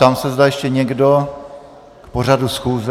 Ptám se, zda ještě někdo k pořadu schůze.